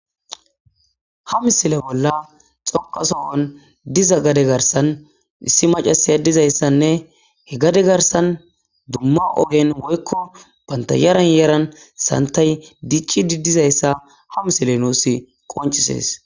hamisile bolla xokasohon diza gade garsan issi macasaya dizayssanne he gade garsan dumma ohen woykko bantayaran yeran santay dichi didizayssa ha misile nuus qoncisees